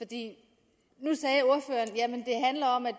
det handler om at